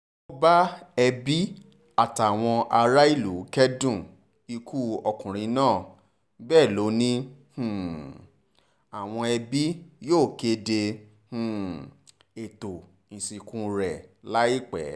ó bá ẹbí àtàwọn aráàlú kẹ́dùn ikú ọkùnrin náà bẹ́ẹ̀ lọ ni um àwọn ẹbí yóò kéde um ètò ìsìnkú rẹ̀ láìpẹ́